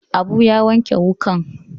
Abu ya wanke wukan.